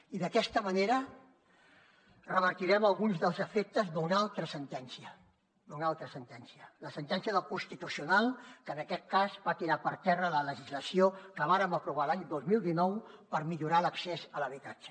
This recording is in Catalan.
i d’aquesta manera revertirem alguns dels efectes d’una altra sentència d’una altra sentència la sentència del constitucional que en aquest cas va tirar per terra la legislació que vàrem aprovar l’any dos mil dinou per millorar l’accés a l’habitatge